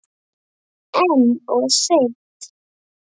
En of seint.